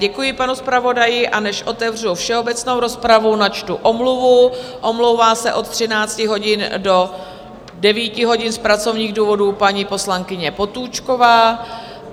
Děkuji panu zpravodaji, a než otevřu všeobecnou rozpravu, načtu omluvu: omlouvá se od 13 hodin do 9 hodin z pracovních důvodů paní poslankyně Potůčková.